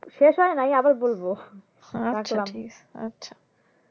শেষ হয় নাই আবার বলবো